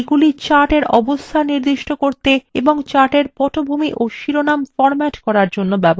এগুলি chartএর অবস্থান নির্দিষ্ট করতে এবং chartএর পটভূমি of শিরোনাম বিন্যস্ত করার জন্য ব্যবহার করা হয়